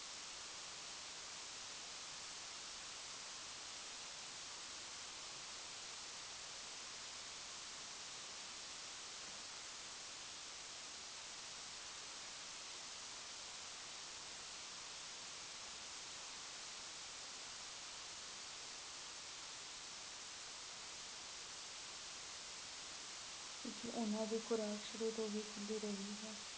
ਬਲਕਿ ਉਹਨਾ ਦੀ ਖੁਰਾਕ ਸ਼ੁਰੂ ਤੋਂ ਖੁੱਲ੍ਹੀ ਰਹਿੰਦੀ ਹੈ।